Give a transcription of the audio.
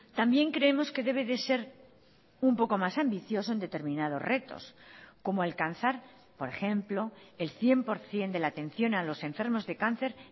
también creemos que debe de ser un poco más ambicioso en determinados retos como alcanzar por ejemplo el cien por ciento de la atención a los enfermos de cáncer